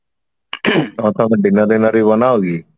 ତମେ dinner ଫିନର ବି ବନାଅ କି